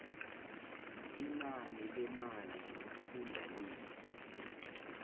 inani lemali yomfundalize